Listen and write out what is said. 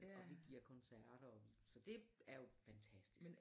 Og vi giver koncerter og vi så det er jo fantastisk